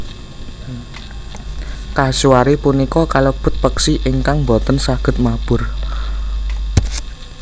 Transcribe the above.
Kasuari punika kalebet peksi ingkang boten saged mabur